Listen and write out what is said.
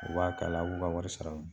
U b'a k'a la a' b'u ka wari sara